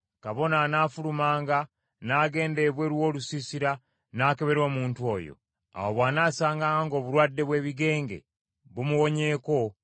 Kabona anaafulumanga n’agenda ebweru w’olusiisira n’akebera omuntu oyo. Awo bw’anaasanganga ng’obulwadde bw’ebigenge bumuwonyeeko,